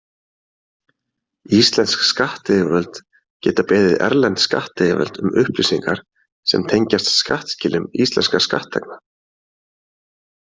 Íslensk skattyfirvöld geta beðið erlend skattyfirvöld um upplýsingar sem tengjast skattskilum íslenskra skattþegna.